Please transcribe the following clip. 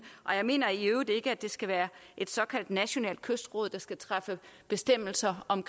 jeg mener i øvrigt ikke at det skal være et såkaldt nationalt kystråd der skal træffe bestemmelser om